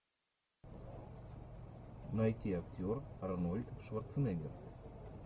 найти актер арнольд шварценеггер